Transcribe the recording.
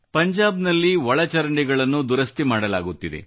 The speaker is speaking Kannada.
ಪಂಜಾಬ್ನಲ್ಲಿ ಒಳಚರಂಡಿಗಳನ್ನು ದುರಸ್ತಿ ಮಾಡಲಾಗುತ್ತಿದೆ